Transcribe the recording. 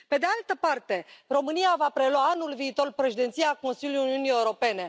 Pe de altă parte, România va prelua anul viitor președinția Consiliului Uniunii Europene.